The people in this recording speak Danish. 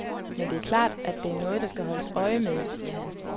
Men det er klart, at det er noget der skal holdes øje med, siger han.